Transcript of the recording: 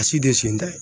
A si tɛ sen da